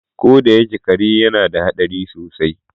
Ko da yake kare yana da hadari sosai.